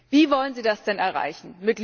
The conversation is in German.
Wie wollen Sie das denn erreichen?